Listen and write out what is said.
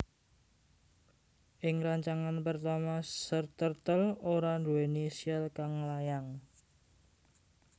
Ing rancangan pertama Sir Turtle ora duwéni syal kang nglayang